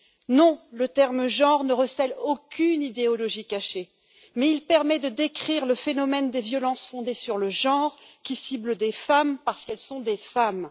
Non, le terme genre ne recèle aucune idéologie cachée, mais il permet de décrire le phénomène des violences fondées sur le genre qui ciblent des femmes parce qu'elles sont des femmes.